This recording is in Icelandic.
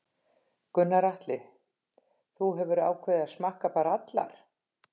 Gunnar Atli: Þú hefur ákveðið að smakka bara allar?